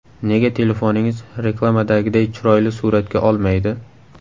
Nega telefoningiz reklamadagiday chiroyli suratga olmaydi?.